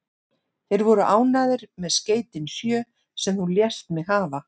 Þeir voru ánægðir með skeytin sjö, sem þú lést mig hafa.